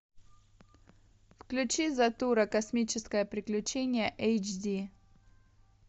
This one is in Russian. включи затура космическое приключение эйч ди